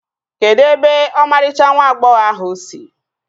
Kedụ ebe ọmarịcha nwa agbọghọ ahụ si?